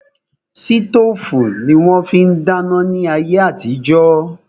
Sítòfù ni wón fi ń dáná ní ayé àtijó